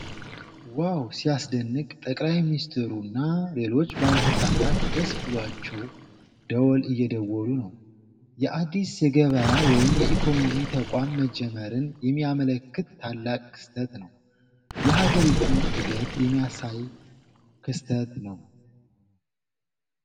ዋው ሲያስደንቅ! ጠቅላይ ሚኒስትሩና ሌሎች ባለስልጣናት ደስ ብሏቸው ደወል እየደወሉ ነው። የአዲስ የገበያ ወይም የኢኮኖሚ ተቋም መጀመርን የሚያመለክት ታላቅ ክስተት ነው። የሀገሪቱን እድገት የሚያሳይ ክስተት ነው!!።